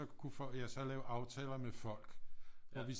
Kunne folk jeg så lave aftaler med folk hvor vi